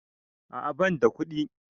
A'a banda kuɗi